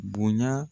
Bonya